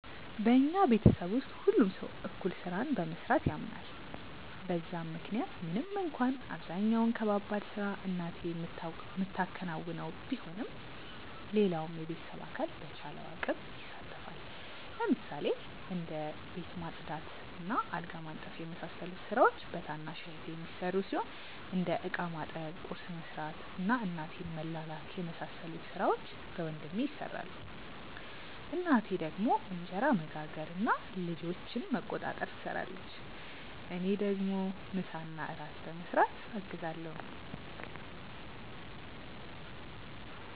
በኛ ቤተሰብ ውስጥ ሁሉም ሰው እኩል ስራን በመስራት ያምናል በዛም ምክንያት ምንም እንኳን አብዛኛውን ከባባድ ስራ እናቴ ምታከናውነው ቢሆንም ሌላውም የቤተሰብ አካል በቻለው አቅም ይሳተፋል። ለምሳሌ እንደ ቤት ማጽዳት እና አልጋ ማንጠፍ የመሳሰሉት ስራዎች በታናሽ እህቴ የሚሰሩ ሲሆን እንደ እቃ ማጠብ፣ ቁርስ መስራት እና እናቴን መላላክ የመሳሰሉት ሥራዎች በወንድሜ ይሰራሉ። እናቴ ደግሞ እንጀራ መጋገር እና ልጆችን መቆጣጠር ትሰራለች። እኔ ደግሞ ምሳና እራት በመስራት አግዛለሁ።